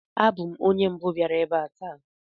Abụ m onye mbụ biara ebe a taa